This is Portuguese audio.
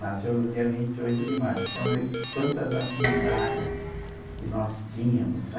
nasceu no dia vinte e oito de março, então vê quantas afinidades que nós tínhamos, né?